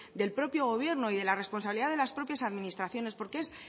del propio gobierno y de la responsabilidad de las propias administraciones porque es